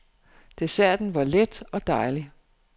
Desserten var let og dejlig.